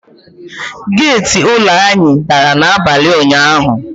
Geti ụlọ anyị dara n;abalị ụnyaahụ.